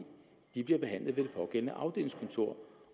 der bliver behandlet ved pågældende afdelingskontor